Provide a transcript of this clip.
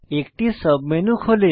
একটি সাবমেনু খোলে